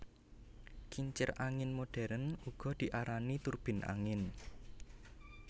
Kincir angin modern uga diarani turbin angin